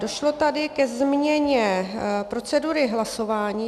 Došlo tady ke změně procedury hlasování.